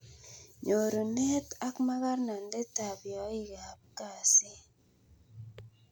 nyorunet ak makarnandit ap yaik ap kasit